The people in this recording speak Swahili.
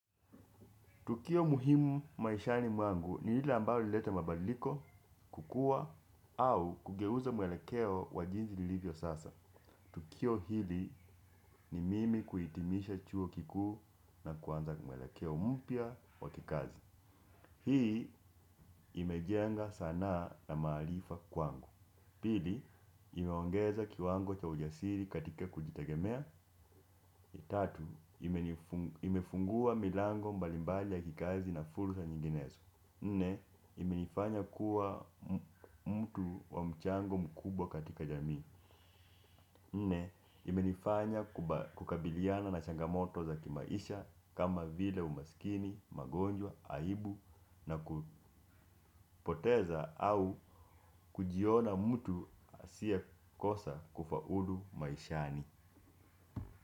Tukio muhimu maishani mwangu ni lile lilileta mabadiliko, kukua au kugeuza mwelekeo wa maisha yangu kama ilivyo sasa. Tukio hili ni mimi kuhitimisha chuo kikuu na kuanza mwelekeo mpya wa kikazi. Hii imejenga sanaa na maarifa kwangu. Pili, imeongeza kiwango cha ujasiri katika kujitegemea. Tatu, imefungua milango mbalimbali ya kikazi na fursa nyinginezo. Nne imenifanya kuwa mtu wa mchango mkubwa katika jamii kukabiliana na changamoto za kimaisha kama vile umaskini, ugonjwa, aibu kupoteza au kujiona mtu asiye kosa kufaulu maishani.